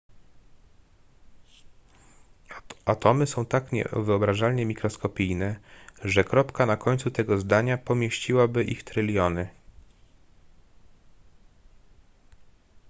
atomy są tak niewyobrażalnie mikroskopijne że kropka na końcu tego zadania pomieściłaby ich tryliony